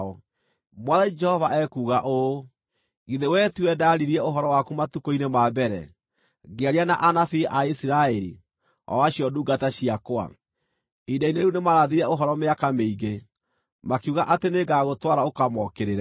“ ‘Mwathani Jehova ekuuga ũũ: Githĩ wee tiwe ndaaririe ũhoro waku matukũ-inĩ ma mbere, ngĩaria na anabii a Isiraeli, o acio ndungata ciakwa? Ihinda-inĩ rĩu nĩmarathire ũhoro mĩaka mĩingĩ, makiuga atĩ nĩngagũtwara ũkamookĩrĩre.